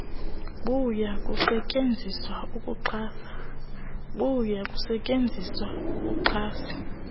buya kusetyenziswa ukuxhasa